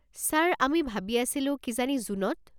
Sir, আমি ভাবি আছিলো কিজানি জুনত।